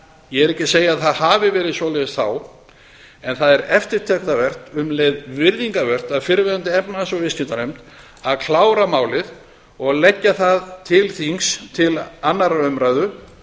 ég er ekki að segja að það hafi verið svoleiðis þá en það er eftirtektarvert og um leið virðingarvert af fyrrverandi efnahags og viðskiptanefnd að klára málið og leggja það til þings til annarrar umræðu